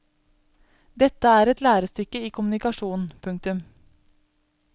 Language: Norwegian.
Dette er et lærestykke i kommunikasjon. punktum